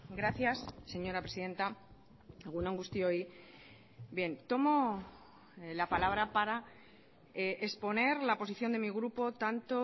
gracias señora presidenta egun on guztioi bien tomo la palabra para exponer la posición de mi grupo tanto